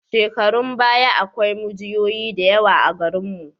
Shekarun baya akwai mujiyoyi da yawa a garinmu.